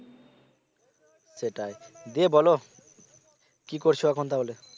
সেটাই। দিয়ে বলো কি করছো এখন তাহলে